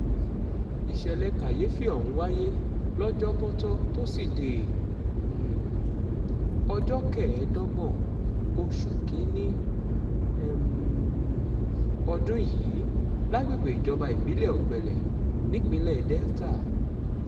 ìṣẹ̀lẹ̀ kàyééfì ọ̀hún wáyé lọ́jọ́bọ́tò tósídéé um ọjọ́ kẹẹ̀ẹ́dọ́gbọ̀n oṣù kín-ín-ní um ọdún yìí lágbègbè ìjọba ìbílẹ̀ ògbẹ́lé nípínlẹ̀ delta